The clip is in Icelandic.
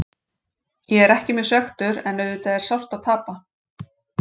Ég er ekki mjög svekktur en auðvitað er sárt að tapa.